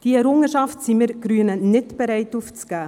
Diese Errungenschaft sind wir Grünen nicht bereit, aufzugeben.